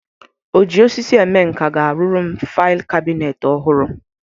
Oji osisi eme nka ga-arụrụ m fail kabinet ọhụrụ.